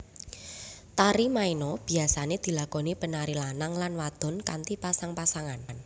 Tari maena biyasané dilakoni penari lanang lan wadon kanthi pasang pasangan